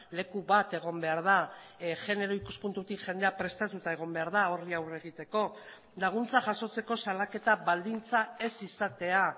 leku bat egon behar da genero ikuspuntutik jendea prestatuta egon behar da horri aurre egiteko laguntza jasotzeko salaketa baldintza ez izatea